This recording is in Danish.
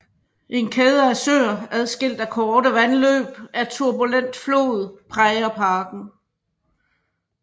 En kæde af søer adskilt af korte vandløb af turbulent flod præger parken